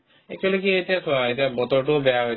actually কি এতিয়া চোৱা এতিয়া বতৰতোও বেয়া হৈছে